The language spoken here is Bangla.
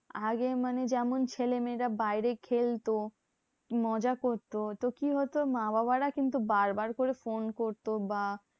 আগে মানে যেমন ছেলেমেয়েরা বাইরে খেলতো, কি মজা করতো? তো কি হতো? মা বাবারা কিন্তু বার বার করে ফোন করতো বা